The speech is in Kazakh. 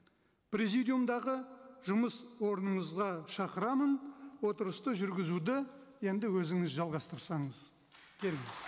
президиумдағы жұмыс орныңызға шақырамын отырысты жүргізуді енді өзіңіз жалғастырсаңыз келіңіз